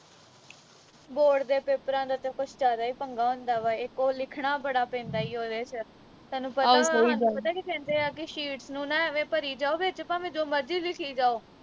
board ਦੇ ਪੇਪਰਾਂ ਦਾ ਤਾਂ ਕੁਛ ਜਿਆਦਾ ਈ ਪੰਗਾ ਹੁੰਦਾ ਵਾ ਇਕ ਓਹ ਲਿਖਣਾ ਬੜਾ ਪੈਂਦਾ ਈ ਉਹਦੇ ਵਿਚ ਤੈਨੂੰ ਪਤਾ ਵਾਂ ਹਾਨੂੰ ਪਤਾ ਕੀ ਕਹਿੰਦੇ ਆ ਕਿ sheets ਨੂੰ ਨਾ ਐਵੇਂ ਭਰੀ ਜਾਓ ਵਿਚ ਭਾਵੇਂ ਜੋ ਮਰਜੀ ਲਿਖੀ ਜਾਓ